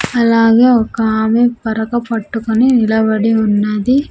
అలాగే ఒక ఆమె పరక పట్టుకొని నిలబడి ఉన్నది.